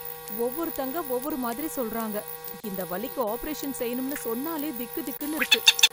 ஒவ்வொருத்தங்க ஒவ்வொரு மாதிரி சொல்றாங்க... இந்த வலிக்கு ஆப்பரேஷன் செய்யனும்னு சொன்னாலே திக்கு திக்குன்னு இருக்கு